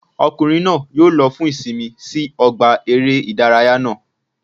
Ọkùnrin náà yóò lo fún ìsinmi sí ọgbà eré ìdárayá náà